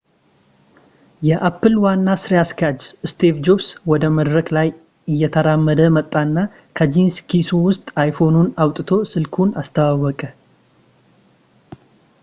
የapple ዋና ስራ አስኪያጅ steve jobs ወደ መድረክ ላይ እየተራመደ ወጣና ከጂንስ ኪሱ ውስጥ iphoneኑን አውጥቶ ስልኩን አስተዋወቀ